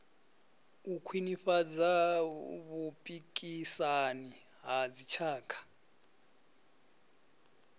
u khwinifhadza vhupikisani ha dzitshaka